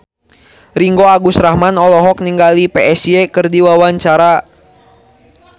Ringgo Agus Rahman olohok ningali Psy keur diwawancara